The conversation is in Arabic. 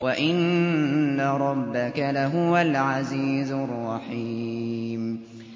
وَإِنَّ رَبَّكَ لَهُوَ الْعَزِيزُ الرَّحِيمُ